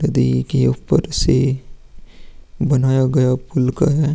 नदी के ऊपर से बनाया गया पुल का है।